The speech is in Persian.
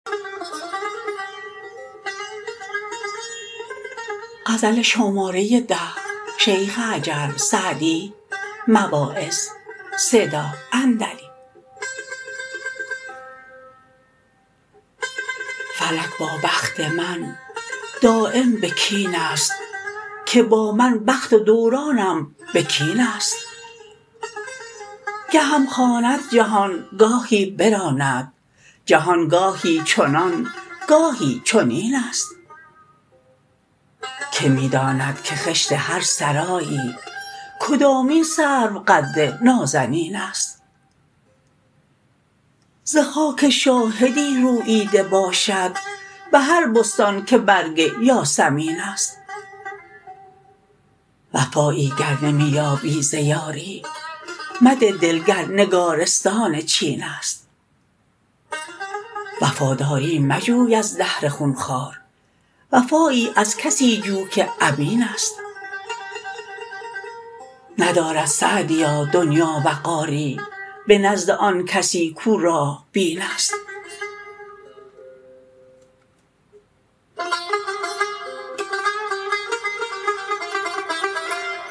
فلک با بخت من دایم به کین است که با من بخت و دوران هم به کین است گهم خواند جهان گاهی براند جهان گاهی چنان گاهی چنین است که می داند که خشت هر سرایی کدامین سروقد نازنین است ز خاک شاهدی روییده باشد به هر بستان که برگ یاسمین است وفایی گر نمی یابی ز یاری مده دل گر نگارستان چین است وفاداری مجوی از دهر خونخوار وفایی از کسی جو که امین است ندارد سعدیا دنیا وقاری به نزد آن کسی کاو راه بین است